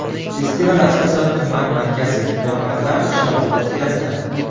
Festival asosan tuman markazi Hunarmandlar qishlog‘ida o‘tkaziladi.